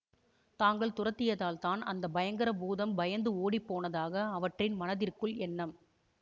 தாங்கள் துரத்தியதால் தான் அந்த பயங்கர பூதம் பயந்து ஓடிப்போனதாக அவற்றின் மனத்திற்குள் எண்ணம்